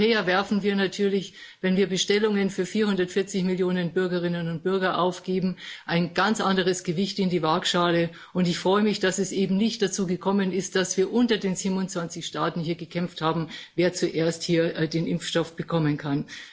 Als Europäer werfen wir natürlich, wenn wir Bestellungen für 440 Millionen Bürgerinnen und Bürger aufgeben, ein ganz anderes Gewicht in die Waagschale, und ich freue mich, dass es eben nicht dazu gekommen ist, dass wir unter den 27 Staaten hier gekämpft haben, wer zuerst den Impfstoff bekommen kann.